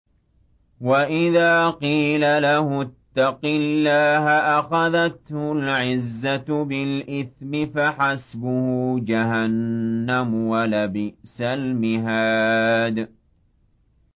وَإِذَا قِيلَ لَهُ اتَّقِ اللَّهَ أَخَذَتْهُ الْعِزَّةُ بِالْإِثْمِ ۚ فَحَسْبُهُ جَهَنَّمُ ۚ وَلَبِئْسَ الْمِهَادُ